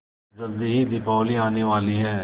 जल्दी ही दीपावली आने वाली है